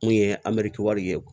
Mun ye ye